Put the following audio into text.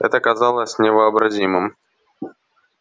это казалось невообразимым